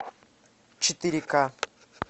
четыре ка